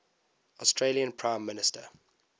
australian prime minister